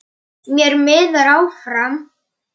Fleiri strákar þyrpast að.